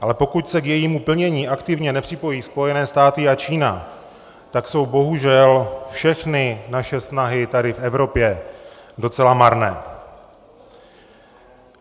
Ale pokud se k jejímu plnění aktivně nepřipojí Spojené státy a Čína, tak jsou bohužel všechny naše snahy tady v Evropě docela marné.